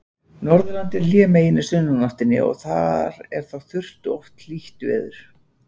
Norðurland er hlémegin í sunnanáttinni og þar er þá þurrt og oft hlýtt veður.